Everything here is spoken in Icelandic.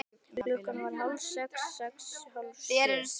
Klukkan varð hálf sex. sex. hálf sjö.